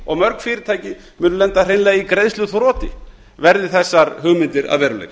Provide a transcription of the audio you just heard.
og mörg fyrirtæki munu hreinlega lenda í greiðsluþroti verði þessar hugmyndir að veruleika